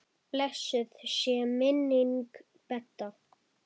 Blessuð sé minning Bedda.